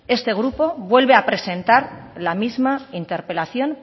este grupo vuelve a presentar la misma interpelación